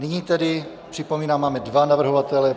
Nyní tedy připomínám, máme dva navrhovatele.